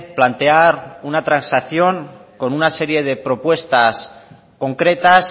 plantear una transacción con una serie de propuestas concretas